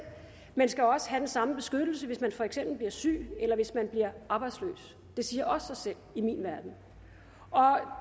men skal også have den samme beskyttelse hvis man for eksempel bliver syg eller hvis man bliver arbejdsløs det siger også sig selv i min verden og